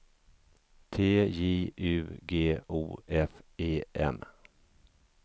T J U G O F E M